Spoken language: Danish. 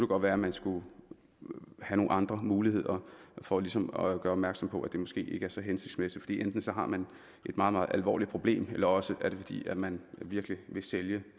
godt være at man skulle have nogle andre muligheder for ligesom at gøre opmærksom på at det måske ikke er så hensigtsmæssigt fordi enten har man et meget meget alvorligt problem eller også er det fordi man virkelig vil sælge